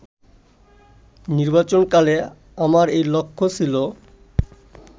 নির্বাচনকালে আমার এই লক্ষ্য ছিল